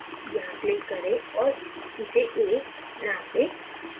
यहाँ click करें और इसे a name दें